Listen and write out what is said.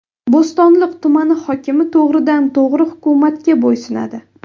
Bo‘stonliq tumani hokimi to‘g‘ridan to‘g‘ri hukumatga bo‘ysunadi.